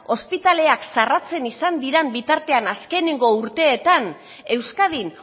ospitaleak ixten izan diren bitartean azkeneko urteetan euskadin